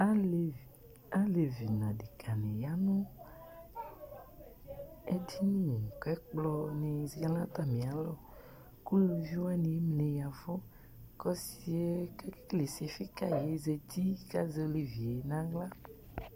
Alevi nʋ aɖekǝ nɩ ƴa nʋ eɖini ƙʋ ɛƙplɔ lɛ nʋ atamɩ alɔƘʋ uluvi ɖɩ ƴaɛvʋ ƙʋ ɔsɩƴɛ ƙʋ eƙele ɔsɩfɩ ƙaƴɩ ƴɛ zati ƙʋ azɛ olevi ƴɛ nʋ aɣla